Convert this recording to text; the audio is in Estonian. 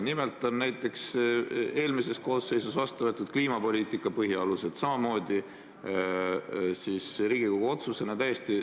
Nimelt võeti näiteks eelmises koosseisus vastu kliimapoliitika põhialused samamoodi Riigikogu otsusena.